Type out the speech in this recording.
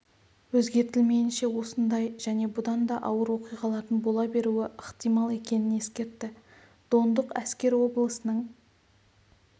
өзгертілмейінше осындай және бұдан да ауыр оқиғалардың бола беруі ықтимал екенін ескертті дондық әскер облысының